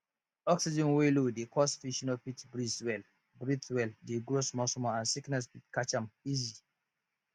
oxygen wey low dey cause fish no fit breathe well breathe well de grow small small and sickness fit catch am easy